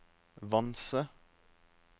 Vanse